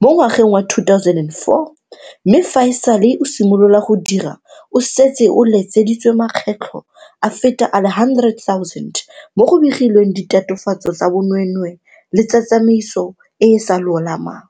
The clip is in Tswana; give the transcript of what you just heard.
mo ngwageng wa 2004 mme fa e sale o simolola go dira o setse o letseditswe makgetlo a feta a le 100 000 mo go begilweng ditatofatso tsa bonweenwee le tsa tsamaiso e e sa lolamang.